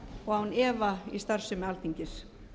og án efa í starfsemi alþingis